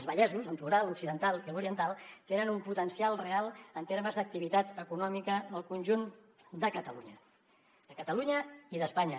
els vallesos en plural l’occidental i l’oriental tenen un potencial real en termes d’activitat econòmica al conjunt de catalunya de catalunya i d’espanya